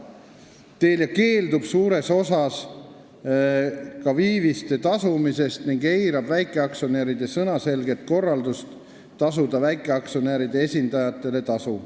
Telia on suures osas keeldunud ka viiviste tasumisest ning on eiranud väikeaktsionäride sõnaselget korraldust tasuda väikeaktsionäride esindajatele tasu.